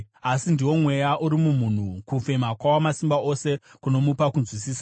Asi ndiwo mweya uri mumunhu, kufema kwaWamasimba Ose, kunomupa kunzwisisa.